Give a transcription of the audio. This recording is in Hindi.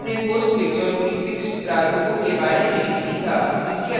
हमने postfix और prefix प्रारूपों के बारे में भी सीखा